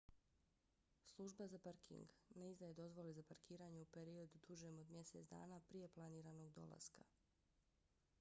služba za parking minae ne izdaje dozvole za parkiranje u periodu dužem od mjesec dana prije planiranog dolaska